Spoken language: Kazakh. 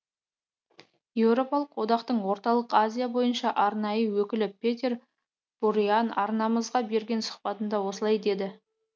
еуропалық одақтың орталық азия бойынша арнайы өкілі петер буриан арнамызға берген сұхбатында осылай деді